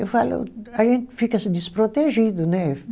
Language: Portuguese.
Eu falo, a gente fica assim desprotegido, né?